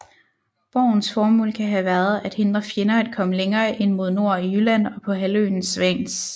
Borgens formål kan have været at hindre fjender at komme længere ind mod nord i Jylland og på halvøen Svans